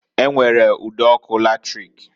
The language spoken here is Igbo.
E nwere udo (eriri) ọkụ latrik.